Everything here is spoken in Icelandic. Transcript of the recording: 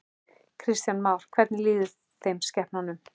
Kristján Már: Hvernig líður þeim, skepnunum?